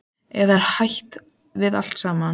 Eða er hætt við allt saman?